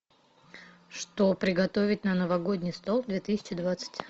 что приготовить на новогодний стол две тысячи двадцать